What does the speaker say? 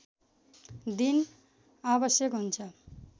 दिन आवश्यक हुन्छ